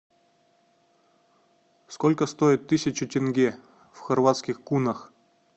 сколько стоит тысяча тенге в хорватских кунах